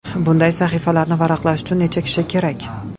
Bunday sahifalarni varaqlash uchun necha kishi kerak?